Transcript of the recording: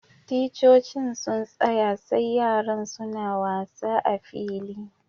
Ticcocin suna tsaya sai yaran suna wasa a'filin.